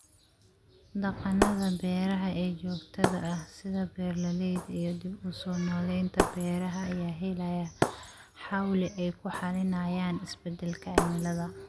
Dhaqannada beeraha ee joogtada ah, sida beeralayda iyo dib-u-soo-nooleynta beeraha, ayaa helaya xawli ay ku xalinayaan isbeddelka cimilada.